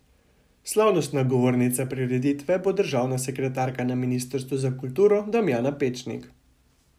Slavnostna govornica prireditve bo državna sekretarka na ministrstvu za kulturo Damjana Pečnik.